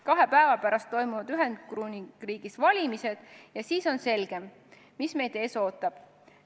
Kahe päeva pärast toimuvad Ühendkuningriigis valimised ja siis on selgem, mis meid ees ootab.